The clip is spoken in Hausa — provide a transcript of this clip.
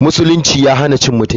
musulunci ya hana cin mutunci.